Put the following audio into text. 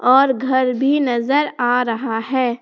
और घर भी नजर आ रहा है।